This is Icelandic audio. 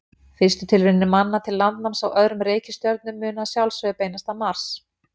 Fyrstu tilraunir manna til landnáms á öðrum reikistjörnum munu að sjálfsögðu beinast að Mars.